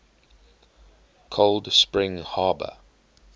cold spring harbor